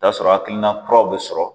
t'a sɔrɔ hakilina kuraw bɛ sɔrɔ.